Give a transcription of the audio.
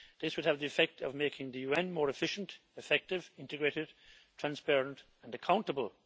This would have the effect of making the UN more efficient, effective, integrated, transparent and accountable.